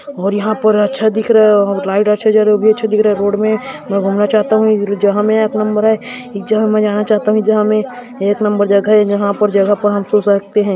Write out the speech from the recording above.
और यहाँ पर अच्छा दिख रहा है और लाइट अच्छा जल ओ भी अच्छा दिख रहा है रोड में मैं घूमना चाहता हुं जहाँ में एक नंबर है जहाँ मैं जाना चाहता हुं जहाँ में एक नंबर जगह है जहाँ पर जगह पर हम सो सकते है।